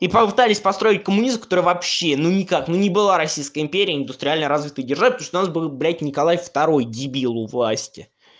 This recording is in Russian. и попытались построить коммунизм который вообще ну никак ну не была российская империя индустриально развитой державой потому что у нас был блядь николай второй дебил у власти